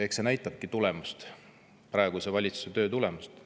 Eks see näita tulemust, praeguse valitsuse töö tulemust.